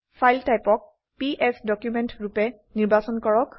file typeক PS document ৰুপে নিৰ্বাচন কৰক